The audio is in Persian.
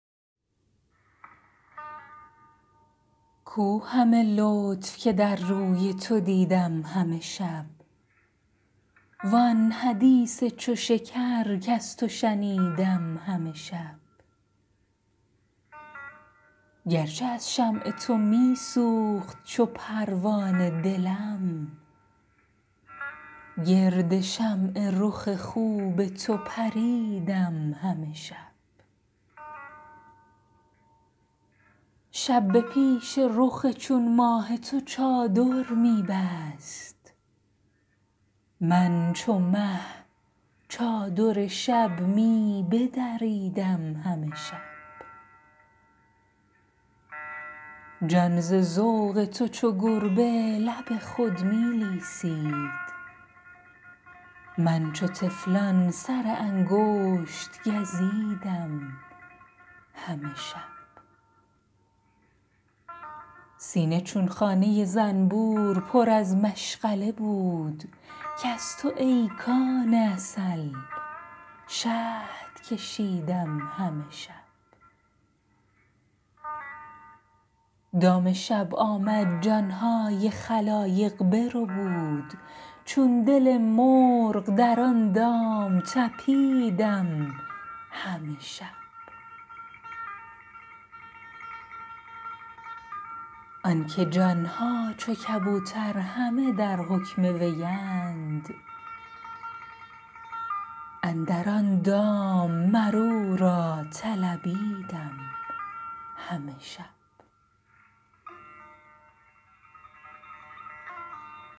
کو همه لطف که در روی تو دیدم همه شب وآن حدیث چو شکر کز تو شنیدم همه شب گرچه از شمع تو می سوخت چو پروانه دلم گرد شمع رخ خوب تو پریدم همه شب شب به پیش رخ چون ماه تو چادر می بست من چو مه چادر شب می بدریدم همه شب جان ز ذوق تو چو گربه لب خود می لیسید من چو طفلان سر انگشت گزیدم همه شب سینه چون خانه زنبور پر از مشغله بود کز تو ای کان عسل شهد کشیدم همه شب دام شب آمد جان های خلایق بربود چون دل مرغ در آن دام طپیدم همه شب آنکه جان ها چو کبوتر همه در حکم وی اند اندر آن دام مر او را طلبیدم همه شب